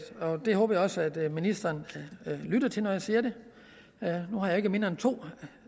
og det håber jeg også at ministeren lytter til når jeg siger det nu har jeg ikke mindre end to